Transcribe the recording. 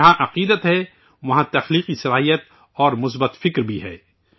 جہاں عقیدت ہے، وہاں ،تخلیقیت اور مثبت سوچ بھی ہے